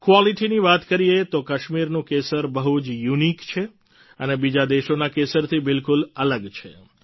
ક્વોલિટીની વાત કરીએ તો કાશ્મીરનું કેસર બહુ જ યુનિક છે અને બીજા દેશોના કેસરથી બિલકુલ અલગ છે